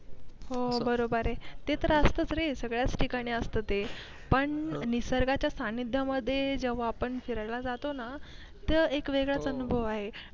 हो बरोबर आहे ते तर असत च रे सगळ्या ठिकाणी असत ते पण निसर्गाच्या सानिध्यां मध्ये जेव्हा आपण फिरायला जातो ना तेव्हा एक वेगळा चा अनुभव आहे.